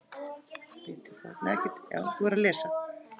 Lítil forrit